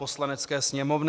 Poslanecké sněmovny